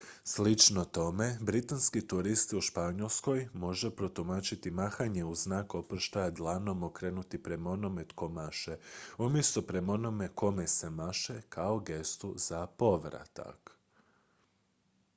slično tome britanski turist u španjolskoj može protumačiti mahanje u znak oproštaja dlanom okrenutim prema onome tko maše umjesto prema onome kome se maše kao gestu za povratak